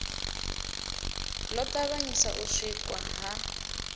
ḓo ṱavhanyisa u sikwa ha